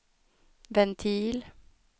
ventil